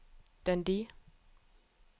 Dundee